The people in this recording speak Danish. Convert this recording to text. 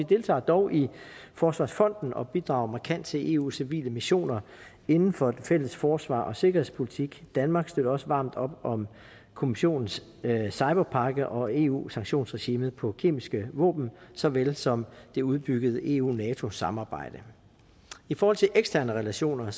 deltager dog i forsvarsfonden og bidrager markant til eus civile missioner inden for den fælles forsvars og sikkerhedspolitik danmark støtter også varmt op om kommissionens cyberpakke og eu sanktionsregimet på kemiske våben så vel som det udbyggede eu nato samarbejde i forhold til eksterne relationer